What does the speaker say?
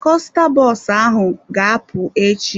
Kosta bọs ahụ ga-apụ echi.